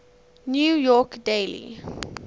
new york daily